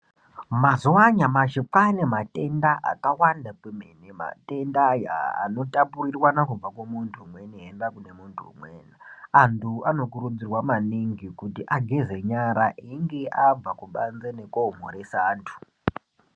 Mazuwa anyamashi kwaane matenda akawanda kwemene, matendaya anotapurirwana kubva kumuntu umweni , eienda kune muntu umweni. Antu anokurudzirwa maningi kuti ageze nyara einge abva kubanze nekoomhoresa antu.